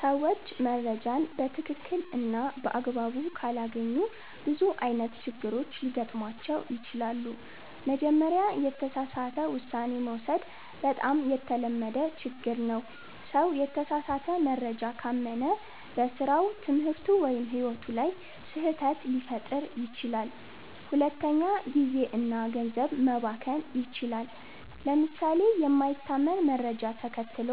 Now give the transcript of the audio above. ሰዎች መረጃን በትክክል እና በአግባቡ ካላገኙ ብዙ አይነት ችግሮች ሊገጥሟቸው ይችላሉ። መጀመሪያ፣ የተሳሳተ ውሳኔ መውሰድ በጣም የተለመደ ችግር ነው። ሰው የተሳሳተ መረጃ ካመነ በስራው፣ ትምህርቱ ወይም ሕይወቱ ላይ ስህተት ሊፈጥር ይችላል። ሁለተኛ፣ ጊዜ እና ገንዘብ መባከን ይችላል። ለምሳሌ የማይታመን መረጃ ተከትሎ